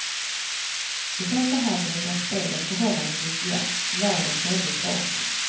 I första halvlek var spelet förhållandevis jämnt, lagen följdes åt.